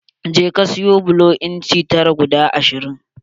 Je ka sayo bulo inci tara guda ashirin.